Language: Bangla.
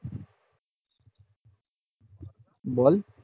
বল